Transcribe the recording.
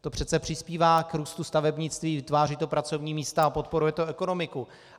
To přece přispívá k růstu stavebnictví, vytváří to pracovní místa a podporuje to ekonomiku.